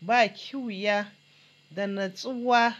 ba kiwiya da natsuwa,